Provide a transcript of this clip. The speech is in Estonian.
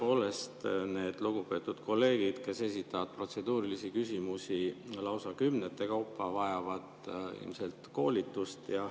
Tõepoolest, need lugupeetud kolleegid, kes esitavad protseduurilisi küsimusi lausa kümnete kaupa, vajavad ilmselt koolitust.